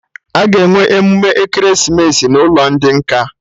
Aga enwe emume ekeresimesi n'ụlọ ndị nkà